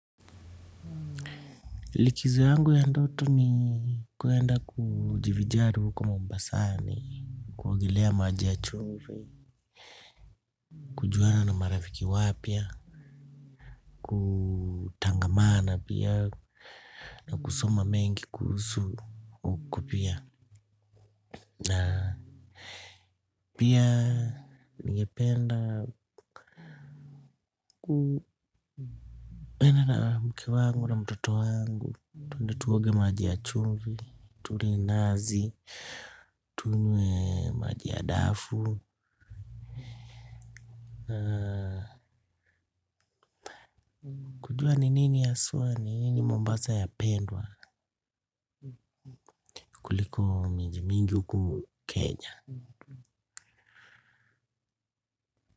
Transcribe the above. Likizo yangu ya ndoto ni kuenda kujivinjari huko Mombasani kuogelea maji ya chumvi. Kujuana na marafiki wapya. Kutangamana pia. Na kusoma mengi kuhusu huko pia. Na pia ningependa kuenda. Na mke wangu na mtoto wangu twende tuoge maji ya chumvi. Tule nazi. Tunywe maji ya dafu. Kujua ni nini haswa ni nini mombasa ya pendwa kuliko miji mingi huku kenya.